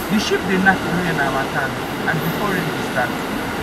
the sheep dey knack during harmattan and born before rain go start